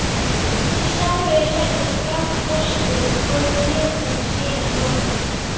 Í sárið er settur gráðostur og kjötinu síðan lokað.